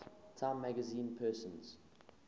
time magazine persons